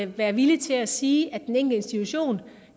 være villig til at sige at den enkelte institution